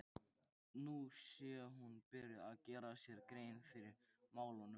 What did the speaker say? Nú sé hún byrjuð að gera sér grein fyrir málunum.